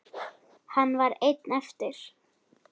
Hann var einn eftir.